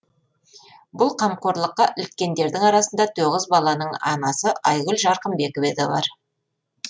бұл қамқорлыққа іліккендердің арасында тоғыз баланың анасы айгүл жарқынбекева да бар